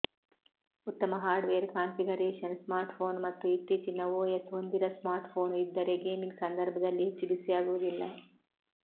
ಉತ್ತಮ hardware configuration smartphone ಮತ್ತು ಇತ್ತೀಚಿನ ಓಎಸ್ ಹೊಂದಿರುವ ಸ್ಮಾರ್ಟ್ಫೋನ್ ಇದ್ದರೆ ಗೇಮಿಂಗ್ ಸಂದರ್ಭದಲ್ಲಿ ಹೆಚ್ಚು ಬಿಸಿಯಾಗುವುದಿಲ್ಲ